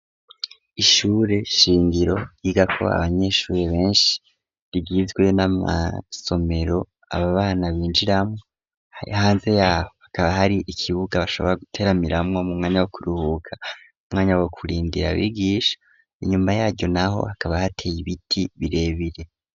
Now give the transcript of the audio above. Ishure shingiro yiga ko abanyeshuri benshi rigizwe n'amasomero aba bana binjiramwo hanze yaho hakaba hari ikibuga bashobora guteramiramwo mu mwanya wo kuruhuka umwanya wo kurindira bigisha inyuma yaryo naho hakaba hateye ibiti birebire.